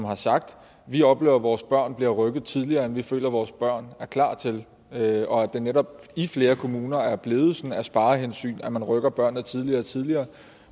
har sagt vi oplever at vores børn bliver rykket tidligere og vi føler at vores børn er klar til det og det er netop i flere kommuner blevet sådan af sparehensyn at man rykker børnene tidligere og tidligere